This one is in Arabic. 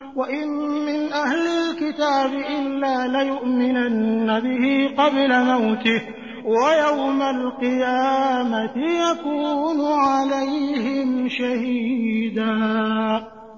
وَإِن مِّنْ أَهْلِ الْكِتَابِ إِلَّا لَيُؤْمِنَنَّ بِهِ قَبْلَ مَوْتِهِ ۖ وَيَوْمَ الْقِيَامَةِ يَكُونُ عَلَيْهِمْ شَهِيدًا